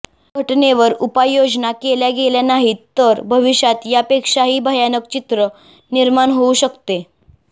या घटनेवर उपाययोजना केल्या गेल्या नाहीत तर भविष्यात यापेक्षाही भयानक चित्र निर्माण होऊ शकते